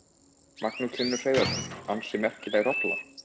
Magnús Hlynur Hreiðarsson: Ansi merkileg rolla?